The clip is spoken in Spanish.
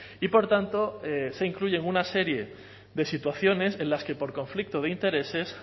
y por tanto se incluyen una serie de situaciones en las que por conflicto de intereses